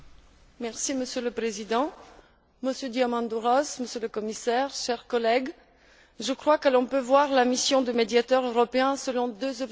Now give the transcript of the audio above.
Monsieur le Président, Monsieur Diamandouros, Monsieur le Commissaire, chers collègues, Mesdames et Messieurs, je crois que l'on peut voir la mission de médiateur européen selon deux objectifs.